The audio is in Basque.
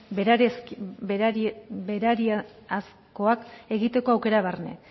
berariazkoak egiteko aukera barne